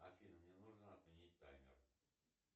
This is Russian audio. афина мне нужно отменить таймер